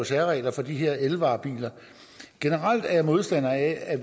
særregler for de her elvarebiler generelt er jeg modstander af at